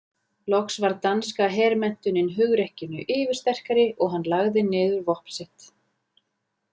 Loks varð danska hermenntunin hugrekkinu yfirsterkari og hann lagði niður vopn sitt.